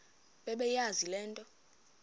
bebeyazi le nto